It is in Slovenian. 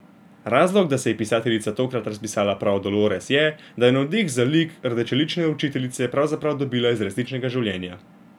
Razlog, da se je pisateljica tokrat razpisala prav o Dolores, je, da je navdih za lik rdečelične učiteljice pravzaprav dobila iz resničnega življenja.